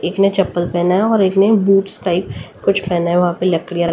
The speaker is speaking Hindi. एक ने चप्पल पहना है और एक ने बूट्स टाइप कुछ पहना है वहां पे लकड़ियां र --